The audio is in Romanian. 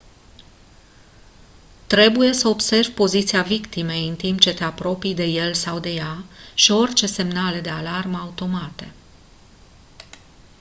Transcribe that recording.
trebuie să observi poziția victimei în timp ce te apropii de el sau de ea și orice semnale de alarmă automate